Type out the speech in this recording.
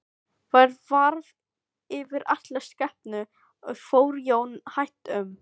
Værð var yfir allri skepnu og fór Jón hægt um.